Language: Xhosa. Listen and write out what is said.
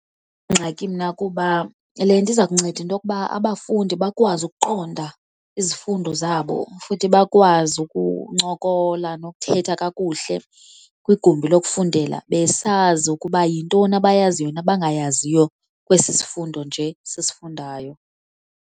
ingxaki mna kuba le nto iza kunceda into yoba abafundi bakwazi ukuqonda izifundo zabo futhi bakwazi ukuncokola nokuthetha kakuhle kwigumbi lokufundela, besazi ukuba yintoni abayaziyo nabangayaziyo kwesisifundo nje sisifundayo.